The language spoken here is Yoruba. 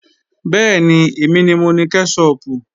Bẹ́ẹ̀ni, èmi ni mo ni kẹ́ṣọpù